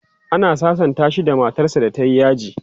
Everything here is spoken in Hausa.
ana sasanta shi da matar sa da tayi yaji